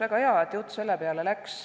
Väga hea, et jutt selle peale läks.